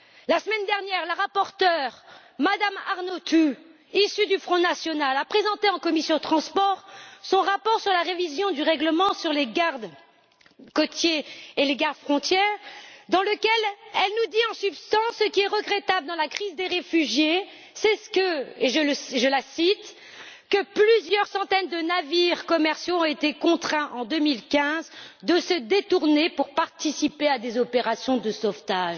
La semaine dernière, la rapporteure, Mme Arnautu, issue du Front national, a présenté en commission des transports et du tourisme son rapport sur la révision du règlement sur les garde côtes et les garde frontières, dans lequel elle nous dit en substance que, ce qui est regrettable dans la crise des réfugiés, c'est et je la cite que plusieurs centaines de navires commerciaux ont été contraints, en 2015, de se détourner pour participer à des opérations de sauvetage.